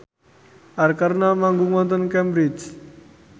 Arkarna manggung wonten Cambridge